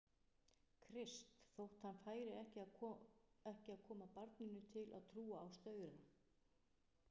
Krist, þótt hann færi ekki að koma barninu til að trúa á staura.